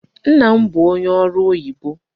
Nna m bụ onye ọrụ oyibo.